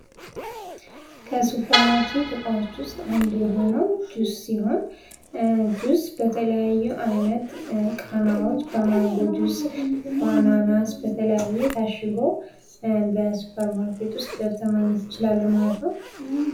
ከሱፐር ማርኬት እቃዎች ዉስጥ አንዱ የሆነው ጁስ ሲሆን ጁስ በተለያዩ አይነት ቃናዎች በማንጎ ጁስ በአናናስ በተለያየ ታሽጎ በሱፐር ማርኬት ዉስጥ ቀጥታ ማግኘት እንችላለን ማለት ነው።